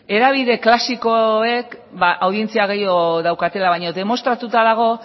hedabide klasikoek audientzia gehiago daukatela baina demostratuta dago